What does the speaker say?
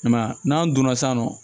I m'a ye n'an donna san nɔ